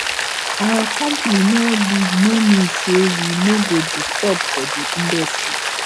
our company no big no mean say we no go disturb for di industry